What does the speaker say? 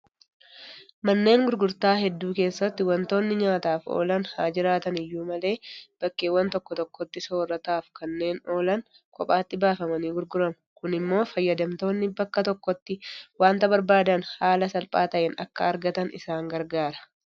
Manneen gurgurtaa hedduu keessatti waantonni nyaataaf oolan haajiraatan iyyuu malee; bakkeewwan tokko tokkotti soorrataaf kanneen oolan kophaatti baafamanii gurguramu. Kun immoo fayyadamtoonni bakka tokkotti waanta barbaadan haala salphaa ta'een akka ergatan isaan gargaara.